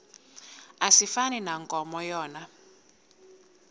asifani nankomo yona